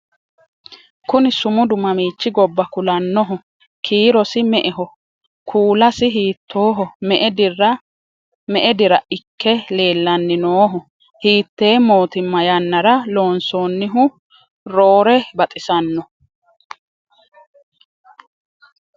kuni sumudu mamiichi gobba kulannoho? kiirosi me"eho kuulasi hiittooho? me"e dira ikke leellanni nooho? hiittee mootimma yannara loonsoonnihu roore baxisanno?